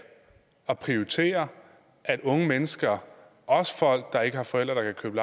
at prioritere at unge mennesker også folk der ikke har forældre der kan købe